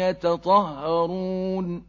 يَتَطَهَّرُونَ